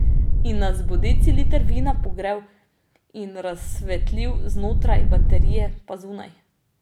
In nas bo deciliter vina pogrel in razsvetlil znotraj, baterije pa zunaj.